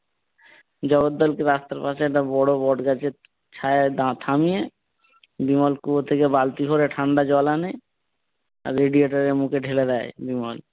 জগদ্দলকে রাস্তার পাশে একটা বড় বট গাছের ছায়ায় দা থামিয়ে বিমল কুয়ো থেকে বালতি করে ঠান্ডা জল আনে। আর radiator এর মুখে ঢেলে দেয় বিমল।